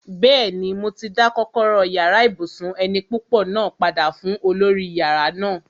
Bẹ́ẹ̀ni, mo ti dá kọ́kọ́rọ́ yàrá ibùsùn eni púpọ̀ náà padà fún olórí yàrá náà